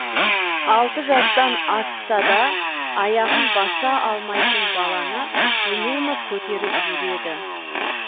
алты жастан асса да аяғын баса алмайтын баланы үнемі көтеріп жүреді